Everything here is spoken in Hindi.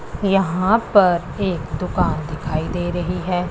यहां पर एक दुकान दिखाई दे रही है।